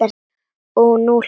Og nú hlæjum við bæði.